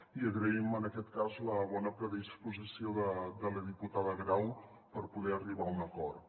i agraïm en aquest cas la bona predisposició de la diputada grau per poder arribar a un acord